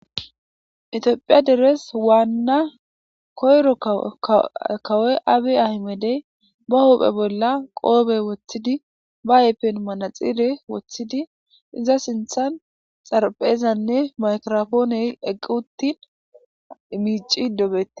etiophiya deres waanna koyro kawoy abe ahimedey ba hophe bolla qoobe woththidi ba ayppen manaxire woththidi iza sinthan xarphezanne maykirofooney eqqi uttin imici dobete